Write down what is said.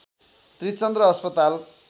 त्रिचन्द्र अस्पताल